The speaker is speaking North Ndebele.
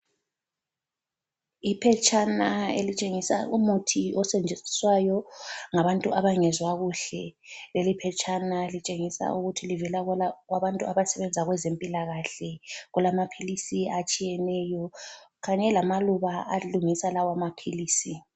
Iphetshana elitshengisa umuthi osetshenziswayo ngabantu abangezwa kuhle. Leliphetshana litshengisa ukuthi livela kubantu abasebenza kwezempilakahle. Kulamaphilisi atshiyeneyo kanye lamaluba alungisa lawa maphilisi.